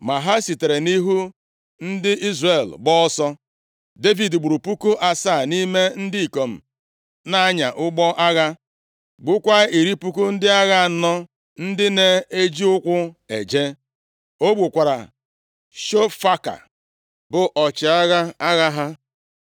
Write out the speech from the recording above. Ma ha sitere nʼihu ndị Izrel gbaa ọsọ. Devid gburu puku asaa nʼime ndị ikom na-anya ụgbọ agha, gbukwaa iri puku ndị agha anọ ndị na-eji ụkwụ eje. O gbukwara Shofaka, bụ ọchịagha agha ha.